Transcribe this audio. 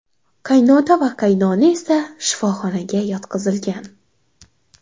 Qaynota va qaynona esa shifoxonaga yotqizilgan.